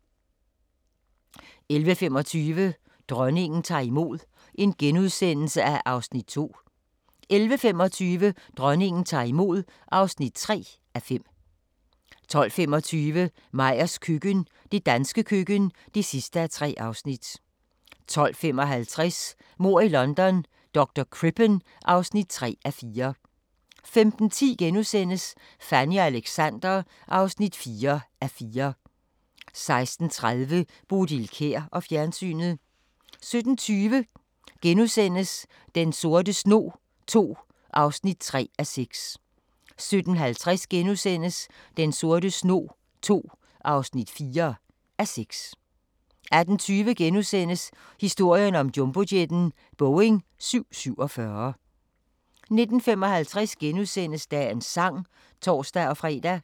11:25: Dronningen tager imod (2:5)* 11:55: Dronningen tager imod (3:5) 12:25: Meyers køkken – det danske køkken (3:3) 12:55: Mord i London - Dr. Crippen (3:4) 15:10: Fanny og Alexander (4:4)* 16:30: Bodil Kjer og fjernsynet 17:20: Den sorte snog II (3:6)* 17:50: Den sorte snog II (4:6)* 18:20: Historien om jumbojetten – Boeing 747 * 19:55: Dagens Sang *(tor-fre)